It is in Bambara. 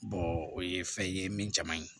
o ye fɛn ye min caman ye